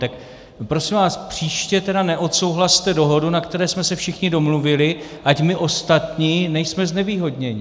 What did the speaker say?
Tak prosím vás, příště tedy neodsouhlaste dohodu, na které jsme se všichni domluvili, ať my ostatní nejsme znevýhodněni.